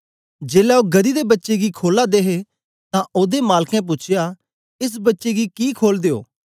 जेलै ओ गदही दे बच्चे दी खोलां दे हे तां ओदे मालकें पूछया एस बच्चे गी कि खोलदे ओ